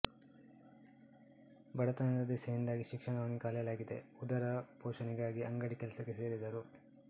ಬಡತನದ ದೆಸೆಯಿಂದಾಗಿ ಶಿಕ್ಷಣವನ್ನು ಕಲಿಯಾಲಾಗಿದೆ ಉದರ ಪೋಷಣೆಗಾಗಿ ಅಂಗಡಿ ಕೆಲಸಕ್ಕೆ ಸೇರಿದರು